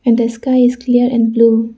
and the sky is clear and blue.